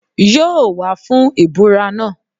Yóò wá fún ìbúra náà